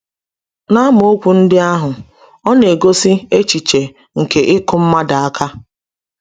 N’amaokwu ndị ahụ, ọ na-egosi echiche nke ịkụ mmadụ aka.